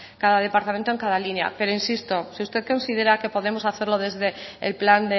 cada departamento en cada línea pero insisto si usted considera que podemos hacerlo